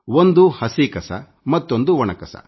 ಒಂದು ಹಸಿ ಕಸ ಮತ್ತೊಂದು ಒಣ ಕಸ